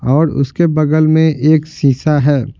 और उसके बगल में एक शीशा है।